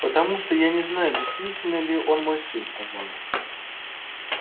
потому что я не знаю действительно ли он мой сын сказал я